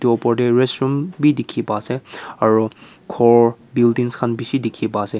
etu opor te restaurant bhi dekhi pai ase aru ghor building khan bisi dekhi pai ase.